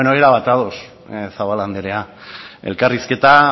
bueno erabat ados zabala anderea elkarrizketa